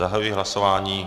Zahajuji hlasování.